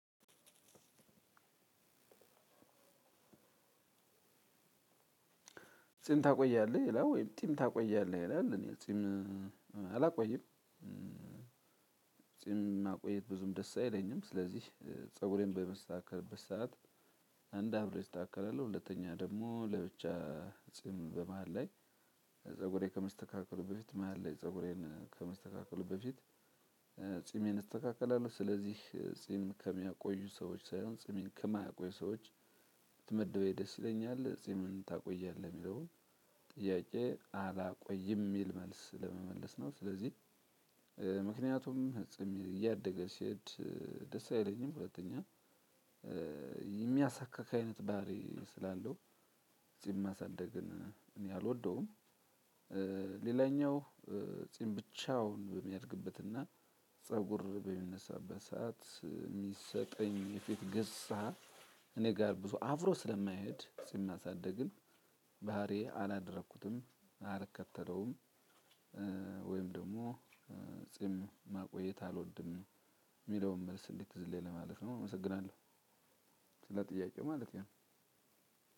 ጺም ታቆያለህ ይላል ወይም ጢም ታቆያለህ ይላል እኔ ጺም አላቆይም። ጺም ማቆየት ብዙም ደስ አይለኝም። ስለዚህ ፀጉሬን በምስተካከልበት ሰዓት አንድ አብሬ እስተካከላለሁ። ሁለተኛ ደግሞ ለብቻ ጺም በመሃል ላይ ፀጉሬን ከመስተካከሉ በፊት መሃል ላይ ፀጉሬን ከመስተካከሉ በፊት ጺሜን እስተካከላለሁ። ስለዚህ ጺም ከሚያቆዩ ሰዎች ሳይሆን ጺምን ከማያቆዩ ሰዎች ብትመድበኝ ደስ ይለኛል። ጺምን ታቆያለህ የሚለውን ጥያቄ አላቆይም የሚል መልስ ለመመለስ ነው። ስለዚህ ምክንያቱም ጺም እያደገ ሲሄድ ደስ አይለኝም። ሁለተኛ የሚያሳክክ አይነት ባህሪ ስላለው ጺም ማሳደግን እኔ አልወደውም። ሌላኛው ጺም ብቻውን በሚያድግበትና ፀጉር በሚነሳበት ሰዓት የሚሰጠኝ የፊት ገጽሃ እኔ ጋር ብዙ አፍሮ ስለማይሄድ ስናሳድግም ባህሪዬ አላደረኩትም አልከተለውም። ወይም ደግሞ ጺም ማቆየት አልወድም የሚለውን መልስ እንድቲዝልኝ ለማለት ነው። አመሰግናለሁ። ስለ ጥያቄው ማለት ነው።